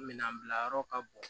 Minɛn bila yɔrɔ ka bon